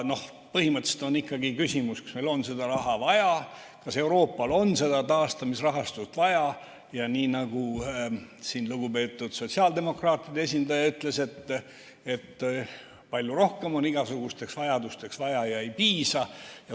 Põhimõtteliselt on ikkagi küsimus, kas meil on seda raha vaja, kas Euroopal on seda taasterahastut vaja, ja nagu lugupeetud sotsiaaldemokraatide esindaja ütles, et palju rohkem on igasugusteks vajadusteks vaja ja ei piisa.